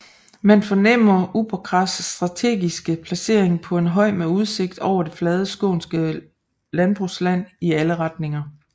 Man fornemmer Uppåkras strategiske placering på en høj med udsigt over det flade skånske landbrugsland i alle retninger